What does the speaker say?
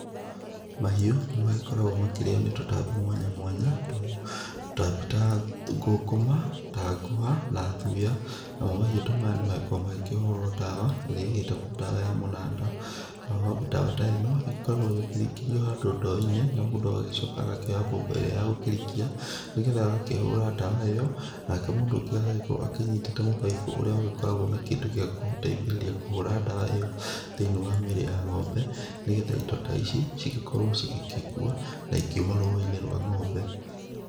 Mahiũ nĩ magĩkoragwo makĩrĩo nĩ tũtambi mwanya mwanya, tũtambi ta ngũkũma ta ngũha na thuya, namo mahiũ ta maya nĩ makoragwo makĩhũrwo ndawa ĩrĩa ĩgĩtagwo ndawa ya mũnanda, nayo ndawa ta ĩno ĩgĩkoragwo ĩkĩringĩrio handũ ndo-inĩ na mũndũ agagĩcoka agakĩoya mbombo ĩrĩa ya gũkĩrikia nĩgetha agakĩhũra ndawa ĩyo nake mũndũ ũngĩ agagĩkorwo akĩnyitĩte mũbaibũ ũrĩa ũgĩkoragwo na kĩndũ gĩa gũgũteithĩrĩria kũhũra ndawa ĩyo thĩinĩ wa mĩrĩ ya ng'ombe, nĩgetha indo ta ici igĩkorwo cigĩkua na ikĩuma rũa-inĩ rwa ng'ombe